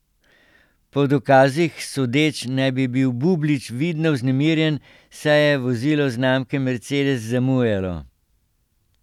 Po dokazih sodeč, naj bi bil Bublič vidno vznemirjen, saj je vozilo znamke mercedes zamujalo.